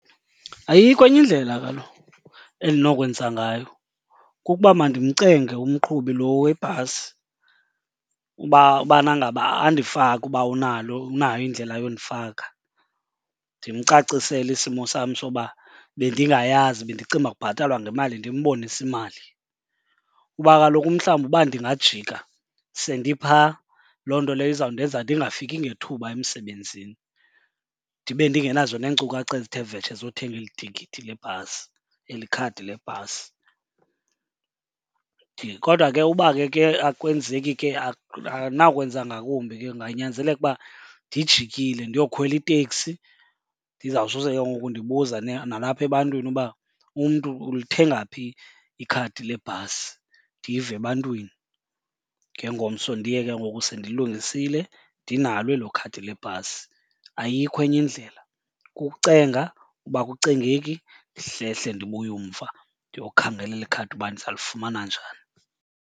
Ayikho enye indlela kaloku endinokwenza ngayo kukuba mandimcenge umqhubi lo webhasi uba ubana ngaba andifake uba unalo unayo indlela yondifaka. Ndimcacisele isimo sam soba bendingayazi bendicinga uba kubhatalwa ngemali, ndimbonise imali. Kuba kaloku mhlawumbi uba ndingajika sendiphaa, loo nto leyo izawundenza ndingafiki ngethuba emsebenzini, ndibe ndingenazo neenkcukacha ezithe vetshe zothenga eli tikiti lebhasi, eli khadi lebhasi. Kodwa ke uba ke ke akwenzeki ke andinakwenza ngakumbi ke, kunganyanzeleka uba ndijikile ndiyokhwela iteksi ndizawusose ke ngoku ndibuza nalapha ebantwini uba umntu ulithenga phi ikhadi lebhasi, ndive ebantwini. Ngengomso ndiye ke ngoku sendilungisile ndinalo elo khadi lebhasi. Ayikho enye indlela, kukucenga. Uba akucengeki ndihlehle ndibuye umva ndiyokhangela eli khadi uba ndiza lifumana njani.